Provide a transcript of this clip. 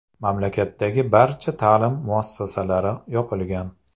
Mamlakatdagi barcha ta’lim muassasalari yopilgan .